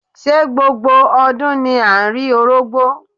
Ṣé gbogbo ọdún ni à ń rí Orógbó?